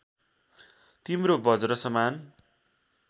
तिम्रो बज्रसमान